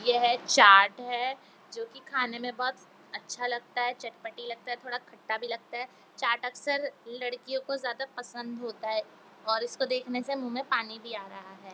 यह एक चाट है जो की खाने में बहुत अच्छा लगता है चटपटा लगता है थोड़ी खट्टा भी लगता है चाट अक्सर लड्कियो को ज्यादा पसंद होता है और इसको देखने से मुह में पानी भी आ रहा है।